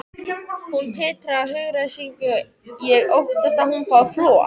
Hún titrar af hugaræsingi, ég óttast að hún fái flog.